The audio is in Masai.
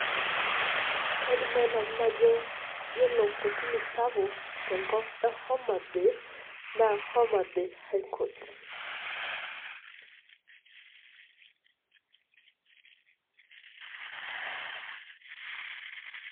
kaidim nae nanuu najoo kore kotinii sapuk te nkop ee homabay naa homabay high court.